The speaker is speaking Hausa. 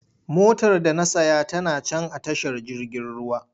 Motar da na saya tana can a tashar jirgin ruwa.